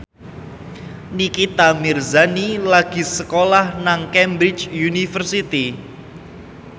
Nikita Mirzani lagi sekolah nang Cambridge University